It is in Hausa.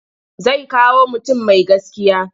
Zai kawo mutum mai gaskiya.